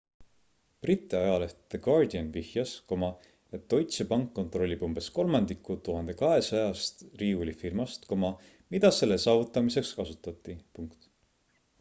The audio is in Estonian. briti ajaleht the guardian vihjas et deutsche bank kontrollib umbes kolmandikku 1200-st riiulifirmast mida selle saavutamiseks kasutati